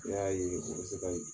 Ne y'a ye a man se ka ɲɛ.